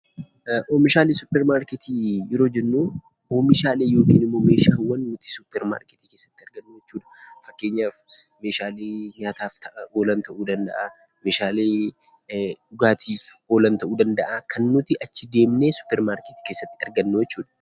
Oomishaalee suuparmarkeetii yeroo jennuu oomishaalee yokiin immoo meeshaawwan suuparmarkeetii keessatti argannu jechuudha. Fakkeenyaf meeshaalee nyaataaf ta'an oolan ta'uu danda'aa, meeshaalee dhugaatiif oolan ta'uu danda'aa, kan nuti achi deemnee suuparmarkeetii keessatti argannuu jechuudha.